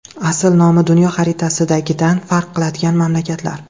Asl nomi dunyo xaritasidagidan farq qiladigan mamlakatlar.